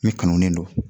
Min kanulen don